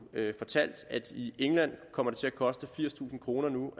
fortalt at det i england kommer til at koste firstusind kroner